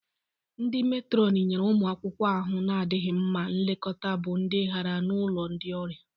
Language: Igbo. Ndi Meetron nyere ụmụ akwụkwọ ahụ na-adịghị mma nlekọta bụ ndị gara n'ulo ndị ọrịa.